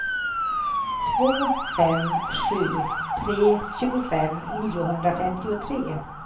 två fem sju tre tjugofem niohundrafemtiotre